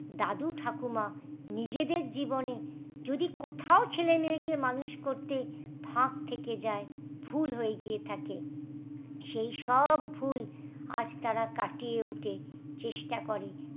দাদু ঠাকুমা নিজেদের জীবনে যদি কোথাও ছেলে মেয়ে কে মানুষ করতে ফাক থেকে যায় ভুল হয়ে গিয়ে থাকে সেই সব ভুল আজ তারা কাটিয়ে উঠে চেষ্টা করে।